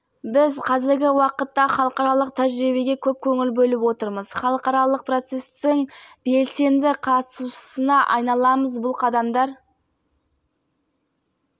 жаңа ғана лас вегас қаласында өткен кәсіпқой бокста отандасымыз бекман сойлыбаев екінші жартылай орта салмақта тұжырымы бойынша чемпиондық атағын қорғап қалды